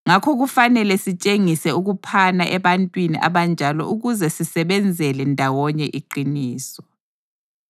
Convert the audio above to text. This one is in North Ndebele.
Ngakho kufanele sitshengise ukuphana ebantwini abanjalo ukuze sisebenzele ndawonye iqiniso.